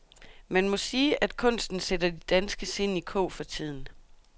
Man må sige, at kunsten sætter de danske sind i kog for tiden.